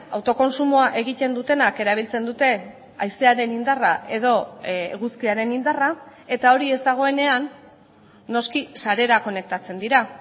autokontsumoa egiten dutenak erabiltzen dute haizearen indarra edo eguzkiaren indarra eta hori ez dagoenean noski sarera konektatzen dira